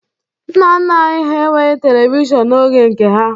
Nna nna anyị hà enweghi Televishọn n'oge nke ha.